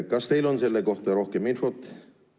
Kas teil on selle kohta rohkem infot?